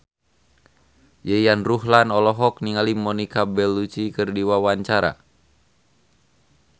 Yayan Ruhlan olohok ningali Monica Belluci keur diwawancara